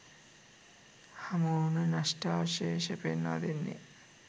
හමුවුණු නෂ්ඨාවශේෂ පෙන්වා දෙන්නේ